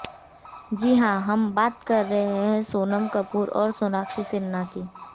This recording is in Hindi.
जी हाँ हम बात कर रहें हैं सोनम कपूर और सोनाक्षी सिन्हा की